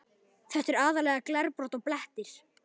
Þetta er aðallega glerbrot og blettir.